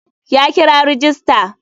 Ya kira rajista.